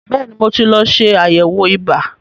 Bẹ́ẹ̀ni, mo ti lọ ṣe àyẹ̀wò ibà.